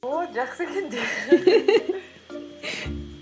ооо жақсы екен